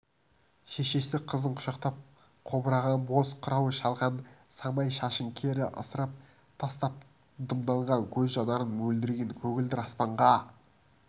шешесі қызын құшақтап қобыраған боз қырау шалған самай шашын кері ысырып тастап дымданған көз жанарын мөлдіреген көгілдір аспанға